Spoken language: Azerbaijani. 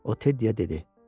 O Teddyyə dedi.